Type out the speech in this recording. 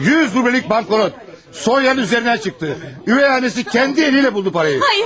Yüz rublelik banknot Soniyanın üzərinə çıxdı, üvey anası kendi eliyle buldu parayı.